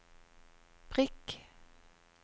prikk